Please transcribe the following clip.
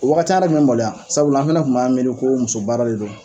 O wagati, an fana tun bɛ maloya, sabula, ani fana tun b'an miiri ko muso baara de don!